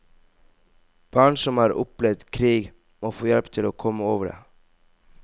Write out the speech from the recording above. Barn som har opplevd krig, må få hjelp til å komme over det.